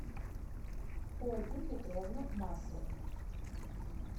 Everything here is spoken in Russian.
ольгу петровну маслову